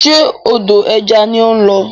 Ṣe odò ẹja ni ó ń lọ?